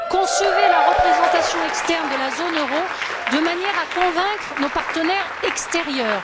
Concevez la représentation externe de la zone euro de manière à convaincre nos partenaires extérieurs.